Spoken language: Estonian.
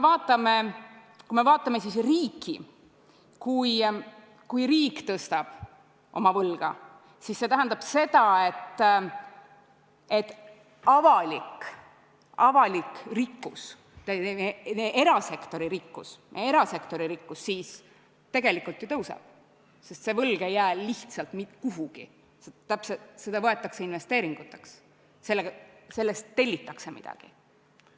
Kui riik suurendab oma võlga, siis see tähendab seda, et erasektori rikkus tegelikult ju suureneb, sest see võlg ei jää lihtsalt kuhugi, see läheb investeeringuteks, selle eest tellitakse midagi.